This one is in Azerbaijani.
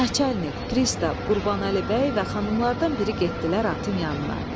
Naçalik, pristav Qurbanəli bəy və xanımlardan biri getdilər atın yanına.